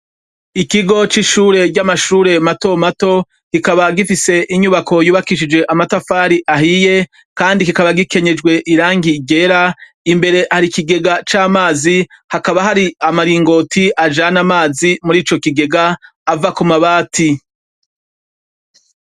Ikigo c'ishure ry'amashure matomato kikaba gifise inyubako yubakishijwe amatafari ahiye kandi kikaba gikenyejwe irangi ryera imbere hari ikigega c'amazi hakaba hari amaringoti ajana amazi muri ico kigega ava ku mabati.